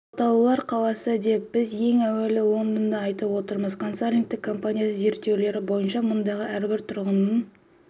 қалталылар қаласы деп біз ең әуелі лондонды айтып отырмыз консалтингтік компаниясының зерттеулері бойынша мұндағы әрбір тұрғынның